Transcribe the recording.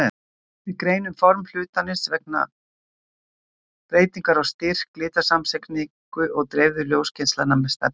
Við greinum form hlutarins vegna breytinga á styrk og litasamsetningu dreifðu ljósgeislanna með stefnu.